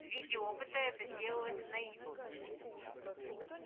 в виде опыта это делалось на ю